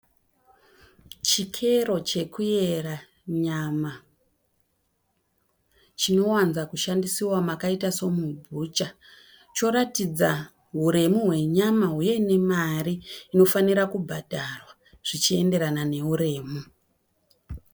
Chikero chekuyera nyama chinowanza kushandisiwa makaita semubhucha, choratidza huremu hwenyama huye nemari inofanira kubhadharwa zvichienderana nehuremu.